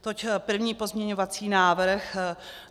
Toť první pozměňovací návrh.